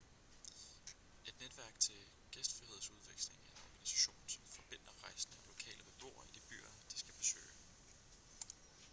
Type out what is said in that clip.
et netværk til gæstfrihedsudveksling er en organisation som forbinder rejsende og lokale beboere i de byer de skal besøge